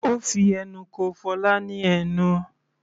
Ó fi ẹnu ko Fola ní ẹnu.